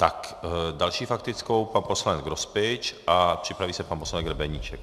S další faktickou pan poslanec Grospič a připraví se pan poslanec Grebeníček.